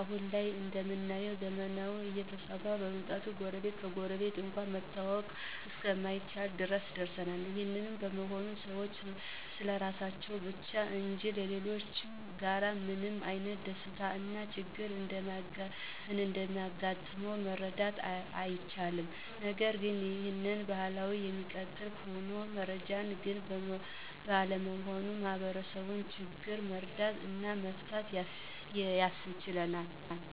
አሁን ላይ እንደምናየው ዘመናዊነት እየተስፋፋ በመምጣቱ ጎረቤት ከጎረቤት እንኳን መተዋወቅ እስከማይቻል ድረስ ደርሰናል። ይህ በመሆኑም ሰዎች ስለራሳቸው ብቻ እንጂ ሌሎችጋ ምን አይነት ደስታ እና ችግር እንዳጋጣመ መረዳት አይችሉም። ነገርግን ይህ ባህል እሚቀጥል ከሆነ የመረጃ ችግር ባለመኖሩ የማህበረሰቡን ችግር መረዳት እና መፍታት ያስችለናል።